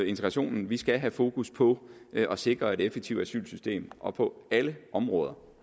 integrationen vi skal have fokus på at sikre et effektivt asylsystem og på alle områder